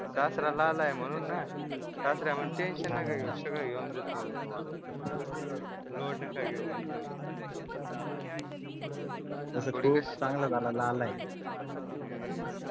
सासरा लाला आहे म्हणून ना सासरा म्हणते टेंशन नका घेऊ सगळं घेऊन देतो म्हणते तुम्हाला मी लोड नका घेऊ म्हणते तुम्ही तसं ते एक चांगलं झालं लाला आहे.